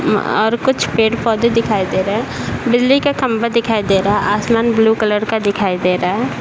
म अ. और कुछ पड़े-पौधे दिखाई दे रहे हैं | बिजली के खम्बे दिखाए दे रहा है आसमान ब्लू कलर का दिखाई दे रहा है